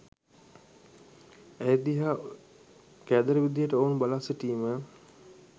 ඇය දිහා කෑදර විදිහට ඔවුන් බලා සිටිම